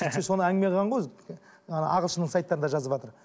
сөйтсе соны әңгіме қылған ғой ағылшынның сайттарында жазыватыр